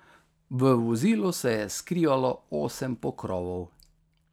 V vozilu se je skrivalo osem pokrovov.